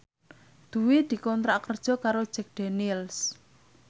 Dwi dikontrak kerja karo Jack Daniels